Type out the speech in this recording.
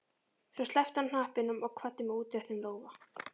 Svo sleppti hann hnappinum og kvaddi með útréttum lófa.